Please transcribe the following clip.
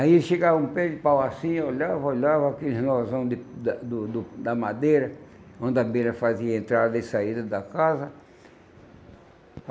Aí ele chegava a um pé de pau assim, olhava, olhava aqueles nozão de do do da madeira, onde a abelha fazia a entrada e saída da casa.